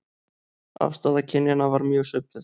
Afstaða kynjanna var mjög svipuð